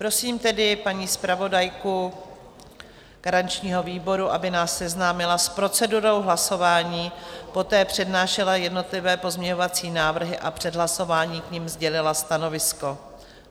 Prosím tedy paní zpravodajku garančního výboru, aby nás seznámila s procedurou hlasování, poté přednášela jednotlivé pozměňovací návrhy a před hlasováním k nim sdělila stanovisko.